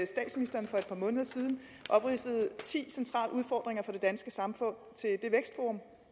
statsministeren for et par måneder siden opridsede ti centrale udfordringer for det danske samfund til det vækstforum